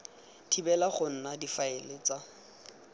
thibela go nna difaele tsa